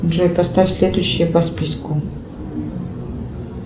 джой поставь следующее по списку